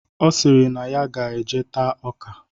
Ọ sịrị na ya ga-eje taa ọka.